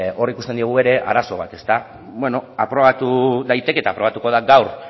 hor ikusten diogu ere arazo bat beno aprobatu daiteke eta aprobatuko da gaur